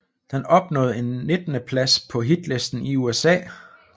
Den opnåede en nittendeplads på hitlisten i USA